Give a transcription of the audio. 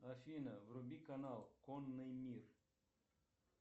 афина вруби канал конный мир